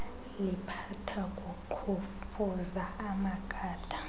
liphatha kuqhumfuza amagada